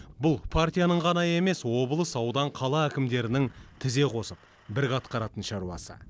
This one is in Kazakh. бұл партияның ғана емес облыс аудан қала әкімдерінің тізе қосып бірге атқаратын шаруасы